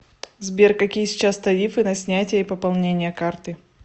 сбер какие сейчас тарифы на снятие и пополнение карты